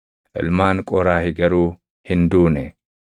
Ilmaan Qooraahi garuu hin duune.